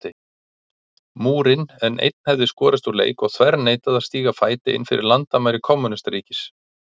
Múrinn, en einn hefði skorist úr leik og þverneitað að stíga fæti innfyrir landamæri kommúnistaríkis.